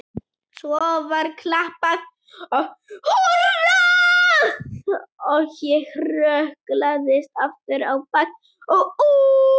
Svo var klappað og húrrað og ég hrökklaðist aftur á bak og út.